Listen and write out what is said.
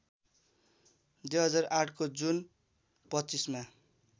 २००८ को जुन २५ मा